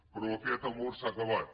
però aquest amor s’ha acabat